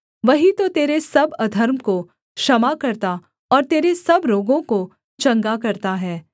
वही तो तेरे सब अधर्म को क्षमा करता और तेरे सब रोगों को चंगा करता है